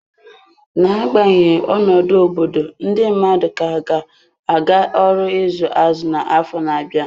N'agbanyeghị ọnọdụ obodo, ndị mmadụ ka ga-aga ọrụ izu azụ na afọ na-abịa.